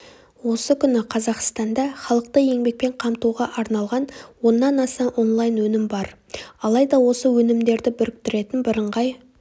осы күні қазақстанда халықты еңбепен қамтуға арналған оннан аса онлайн-өнім бар алайда осы өнімдерді біріктіретін біріңғай